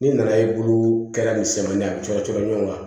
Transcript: N'i nana ye bulu kɛra misɛmani a cɔ cɔ cɔ ɲɔ kan